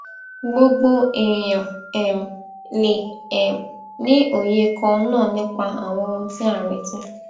gbogbo èèyàn um lè um ní òye kan náà nípa àwọn ohun tí a retí